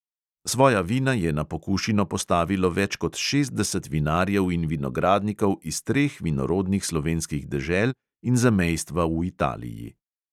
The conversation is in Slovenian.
Svoja vina je na pokušino postavilo več kot šestdeset vinarjev in vinogradnikov iz treh vinorodnih slovenskih dežel in zamejstva v italiji.